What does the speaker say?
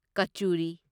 ꯀꯆꯨꯔꯤ